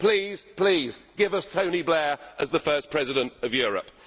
Please, please, give us Tony Blair as the first President of Europe.